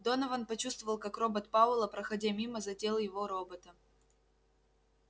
донован почувствовал как робот пауэлла проходя мимо задел его робота